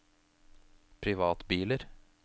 privatbiler